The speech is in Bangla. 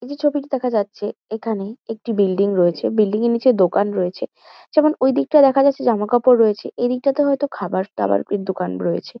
এই যে ছবিটি দেখা যাচ্ছে এখানে একটি বিল্ডিং রয়েছে বিল্ডিং -এর নীচে দোকান রয়েছে যেমন ওইদিকটায় দেখা যাচ্ছে জামাকাপড় রয়েছে এদিকটাতে হয়তো খাবার-দাবার দোকান রয়েছে।